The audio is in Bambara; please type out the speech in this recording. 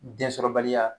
Densɔrɔbaliya